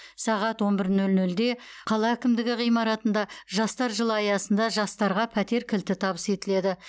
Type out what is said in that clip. сағат он бір нөл нөлде қала әкімдігі ғимаратында жастар жылы аясында жастарға пәтер кілті табыс етіледі